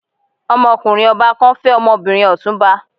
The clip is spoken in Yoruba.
Ọmọkùnrin ọba kan fẹ́ ọmọbìnrin Ọ̀túnba.